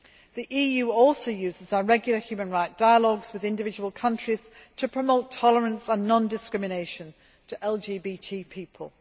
The EU also uses our regular human rights dialogues with individual countries to promote tolerance and non discrimination for LGBT people.